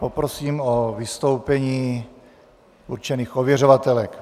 Poprosím o vystoupení určených ověřovatelek.